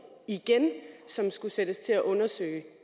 igen som skulle sættes til at undersøge